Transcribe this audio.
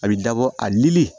A bɛ dabɔ a li